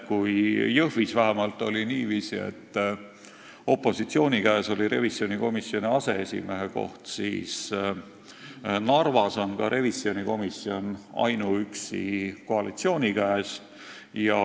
Kui Jõhvis on vähemalt niiviisi, et opositsiooni käes on revisjonikomisjoni aseesimehe koht, siis Narvas on ka revisjonikomisjon ainuüksi koalitsiooni käes.